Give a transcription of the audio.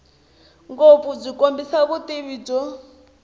ngopfu byi kombisa vutivi byo